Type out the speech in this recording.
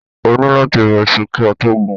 Ó ni láti bọ́ọ́ iṣu kí a tó gun.